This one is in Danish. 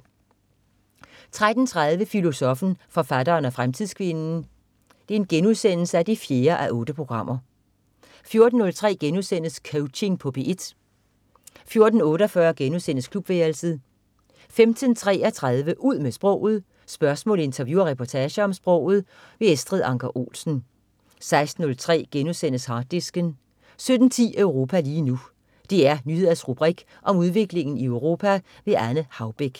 13.30 Filosoffen, forfatteren og fremtidskvinden 4:8* 14.03 Coaching på P1* 14.48 Klubværelset* 15.33 Ud med sproget. Spørgsmål, interview og reportager om sproget. Estrid Anker Olsen 16.03 Harddisken* 17.10 Europa lige nu. DR Nyheders rubrik om udviklingen i Europa. Anne Haubek